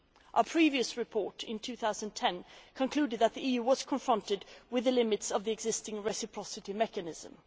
Our previous report, in 2010, concluded that the EU was confronted with the limits' of the existing reciprocity mechanism.